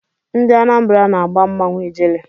Ndị Anambara na-agba mmanwụ Ijele.